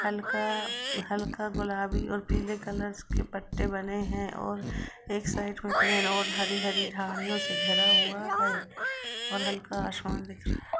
हल्का- हल्का गुलाबी और पीले कलर्स के पत्ते बने है और एक साइड में प्लेन और हरी हरी झाड़ियों से घिरा हुआ है और हल्का आसमान दिख --